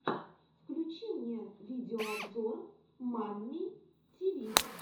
включи мне видеообзор мамми тиви